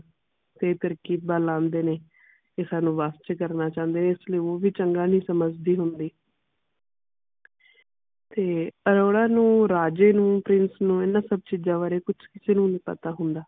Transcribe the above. ਤੇ ਤਰਕੀਬਾਂ ਲਾਉਂਦੇ ਨੇ ਤੇ ਸਾਨੂ ਵੱਸ ਚ ਕਰਨਾ ਚਾਹੁੰਦੇ ਨੇ ਇਸ ਲਈ ਉਹ ਵੀ ਚੰਗਾ ਨਹੀਂ ਸਮਝਦੀ ਹੁੰਦੀ ਤੇ ਅਰੋੜਾ ਨੂੰ ਰਾਜੇ ਨੂੰ ਨੂੰ ਇਹਨਾਂ ਚੀਜ਼ਾਂ ਬਾਰੇ ਕੁਝ ਕਿਸੇ ਨੂੰ ਨਹੀਂ ਪਤਾ ਹੁੰਦਾ